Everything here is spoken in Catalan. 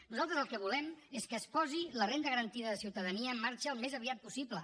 nosaltres el que volem és que es posi la renda garantida de ciutadania en marxa al més aviat possible